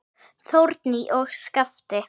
Þórný og Skafti.